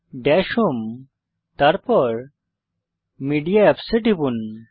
Das home তারপর media apps এ টিপুন